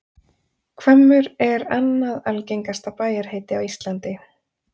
Hvammur er annað algengasta bæjarheiti á Íslandi.